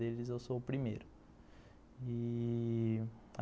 Deles eu sou o primeiro, ih...